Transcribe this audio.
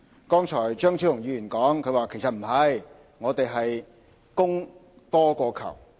剛才張超雄議員說其實不然，我們是供多於求。